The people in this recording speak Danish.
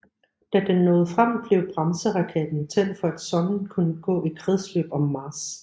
Da den nåede frem blev bremseraketten tændt for at sonden kunne gå i kredsløb om Mars